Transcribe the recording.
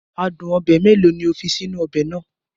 Adun obe mélòó ni o fi sínú ọbẹ̀ náà?